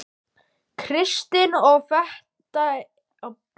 Kristinn: Og þetta er reiðarslag fyrir Flateyri?